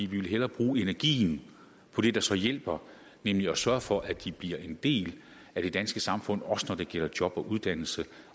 vil hellere bruge energien på det der så hjælper nemlig at sørge for at de bliver en del af det danske samfund også når det gælder job og uddannelse